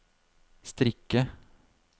strikke